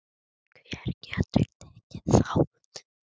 Hver getur tekið þátt?